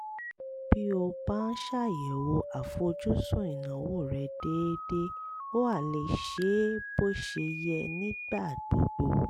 bí o bá ń ṣàyẹ̀wò àfojúsùn ìnáwó rẹ déédéé o á lè ṣe é bó ṣe yẹ nígbà gbogbo